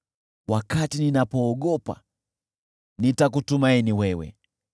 Wakati ninapoogopa, nitakutumaini wewe.